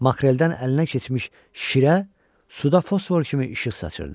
Makreldən əlinə keçmiş şirə suda fosfor kimi işıq saçırdı.